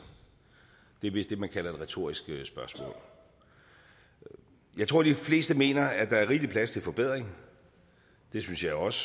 det er vist det man kalder et retorisk spørgsmål jeg tror de fleste mener at der er rigelig plads til forbedring det synes jeg også